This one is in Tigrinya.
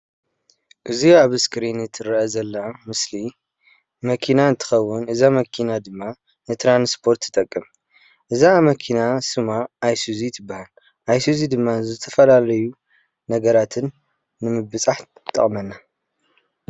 ናይ ፅዕነት መኪና ኮይና ኣይሱዚ ድማ ትበሃል።